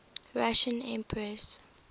russian emperors